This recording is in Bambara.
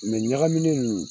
Mɛ ɲagamine ninnu